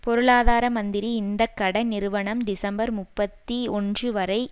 பொருளாதார மந்திரி இந்த கடன் நிறுவனம் டிசம்பர் முப்பத்தி ஒன்று வரை